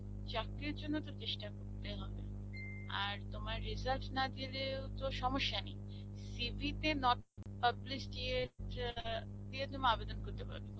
চাকরির জন্যে তোমাকে চেষ্টা করতে হবে. আর তোমার result না দিলেও তো সমস্যা নেই. CV তে not publish দিয়ে দিয়ে তুমি আবেদন করতে পারো.